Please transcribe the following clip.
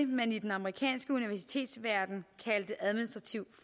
man i den amerikanske universitetsverden kaldte administrativ